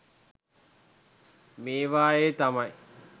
මේවයෙ තමයි